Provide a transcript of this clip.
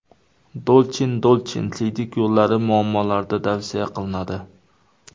Dolchin Dolchin siydik yo‘llari muammolarida tavsiya qilinadi.